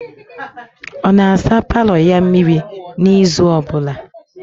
Ọ na-asa paalọ ya mmịrị n'izu ọbụla?